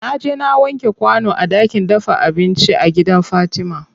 Naje na wanke kwano a ɗakin dafa abinci a gidan fatima.